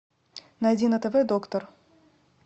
найди на тв доктор